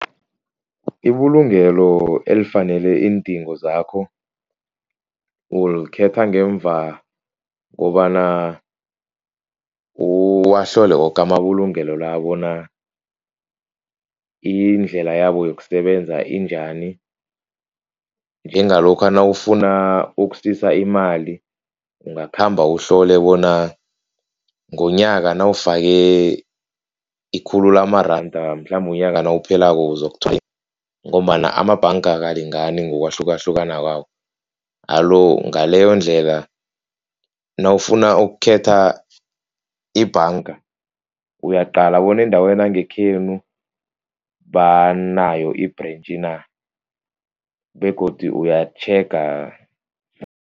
Ibulungelo elifanele iindingo zakho ulikhetha ngemva kobana uwahlole woke amabulungelo la bona indlela yabo yokusebenza injani. Njengalokha nawufuna ukusisa imali. Ungakhamba uhlole bona ngonyaka nawufake ikhulu lamaranda mhlambe unyaka nawuphelako . Ngombana amabhanga akalingani ngokwahlukahlukana kwawo. Alo ngaleyondlela nawufuna ukukhetha ibhanga uyaqala bona endaweni yangekhenu banayo i-branch na begodu uyatjhega